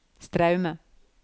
Straume